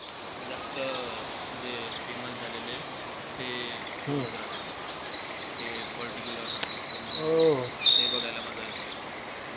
जास्त अं जे famous झालेले आहे. ते ते particular राहता म ते बघायला मजा येते.